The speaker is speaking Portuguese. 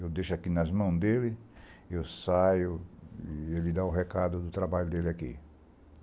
Eu deixo aqui nas mãos dele, eu saio e ele dá o recado do trabalho dele aqui.